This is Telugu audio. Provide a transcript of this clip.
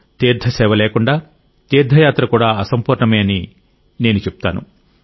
తీర్థ సేవ లేకుండా తీర్థయాత్ర కూడా అసంపూర్ణమే అని నేను చెప్తాను